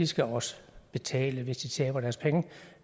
skal også betale hvis de taber deres penge